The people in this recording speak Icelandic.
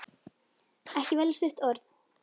Ekki velja stutt orð.